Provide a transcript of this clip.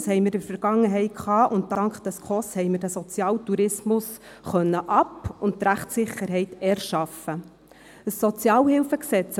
Das hatten wir in der Vergangenheit, und Dank den SKOS-Richtlinien haben wir den Sozialtourismus ab- und Rechtssicherheit erschaffen können.